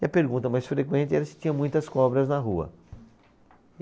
E a pergunta mais frequente era se tinha muitas cobras na rua.